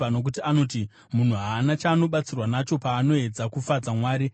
Nokuti anoti, ‘Munhu haana chaanobatsirwa nacho, paanoedza kufadza Mwari.’